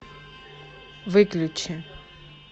выключи